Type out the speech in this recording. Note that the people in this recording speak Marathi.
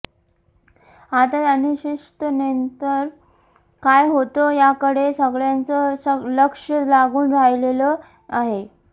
आत्ताच्या अनिश्चिततेनंतर काय होतं याकडे सगळ्यांचं लक्ष लागून राहिलेलं आहे